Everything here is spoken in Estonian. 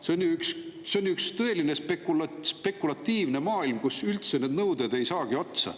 See on ju üks tõeline spekulatiivne maailm, kus need nõuded ei saagi üldse otsa.